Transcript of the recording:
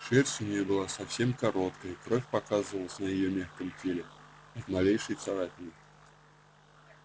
шерсть у неё была совсем короткая кровь показывалась на её мягком теле от малейшей царапины